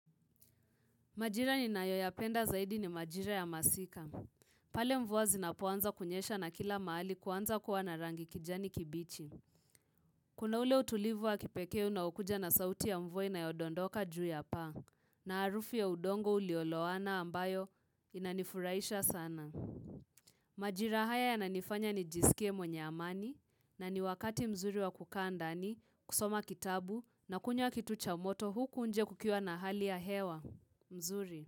Majira ninayoyapenda zaidi ni majira ya masika. Pale mvua zinapoanza kunyesha na kila mahali kuanza kuwa na rangi kijani kibichi. Kuna ule utulivu wa kipekee unaokuja na sauti ya mvua inayodondoka juu ya paa. Na harufu ya udongo uliolowana ambayo inanifuraisha sana. Majira haya yananifanya nijiskie mwenye amani na ni wakati mzuri wa kukaa ndani kusoma kitabu na kunywa kitu cha moto huku nje kukiwa na hali ya hewa nzuri.